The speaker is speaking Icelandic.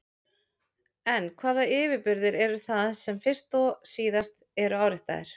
En hvaða yfirburðir eru það sem fyrst og síðast eru áréttaðir?